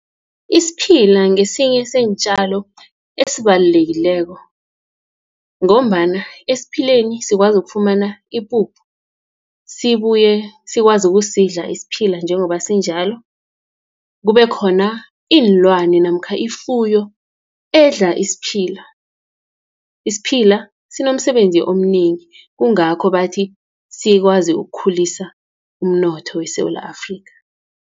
Isiphila ngesinye seentjalo esibalulekileko, ngombana esiphileni sikwazi ukufumana ipuphu. Sibuye sikwazi ukusidla isiphila njengoba sinjalo. Kube khona iinlwane namkha ifuyo edla isiphila. Isiphila sinomsebenzi omnengi, kungakho bathi sikwazi ukukhulisa umnotho weSewula Afrika.